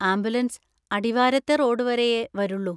Ambulance അടിവാരത്തെ road വരെയേ വരുള്ളൂ.